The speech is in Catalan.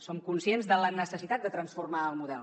som conscients de la necessitat de transformar el model